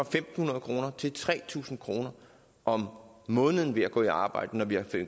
fem hundrede kroner til tre tusind kroner om måneden ved at gå i arbejde når vi har